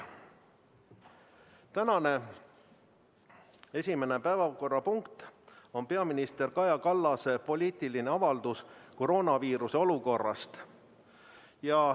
Tänane esimene päevakorrapunkt on peaminister Kaja Kallase poliitiline avaldus koroonaviiruse olukorrast.